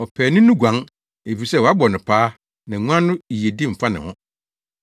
Ɔpaani no guan, efisɛ wɔabɔ no paa na nguan no yiyedi mfa ne ho.